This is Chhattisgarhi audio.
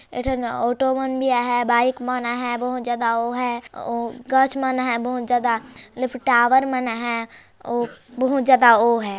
एक ठन ऑटो मन भी आहैं बाइक मन आहैं बहुत ज्यादा हो हैं गाछच मन हैं बहुत ज्यादा लिफ़तावर मन हैं ओ बहुत ज्यादा ओ हैं।